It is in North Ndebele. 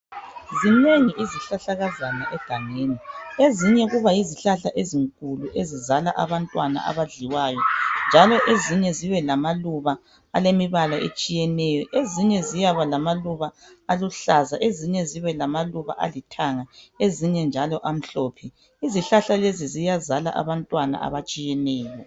Zinengi izihlahlakazana egangeni ezinye kuba yizihlahla ezinkulu ezizala abantwana abadliwayo njalo ezinye zibe lemibala etshiyeneyo. Ezinye ziyaba lamaluba ahluza ezinye zibe lamaluba alithanga ezinye lamhlophe. Izihlahla lezi ziyazala abantwana abatshiyeneyo.